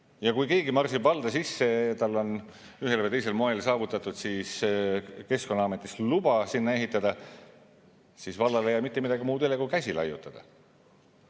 Ja kui keegi marsib valda sisse ja tal on ühel või teisel moel saavutatud siis Keskkonnaametist luba sinna ehitada, siis vallal ei jää mitte midagi muud üle kui käsi laiutada.